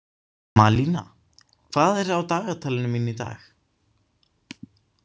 Malína, hvað er á dagatalinu mínu í dag?